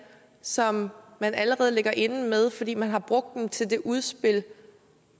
som man allerede ligger inde med fordi man har brugt dem til det udspil